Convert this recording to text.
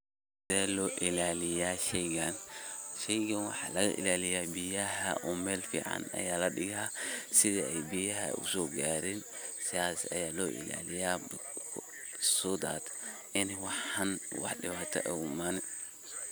Sethe lo ilaliyah sheeygan, sheeygan waxa laga ilaliyah biyaha oo meel fican Aya ladigah setha Ay biyaha usokarin, sas Aya lo ilaliyah so that ini waxan dewato igu imanin .